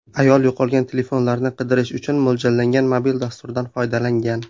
Ayol yo‘qolgan telefonlarni qidirish uchun mo‘ljallangan mobil dasturdan foydalangan.